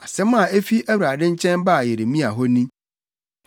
Asɛm a efi Awurade nkyɛn baa Yeremia hɔ ni: